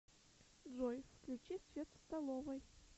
джой включи свет в столовой